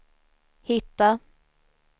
hitta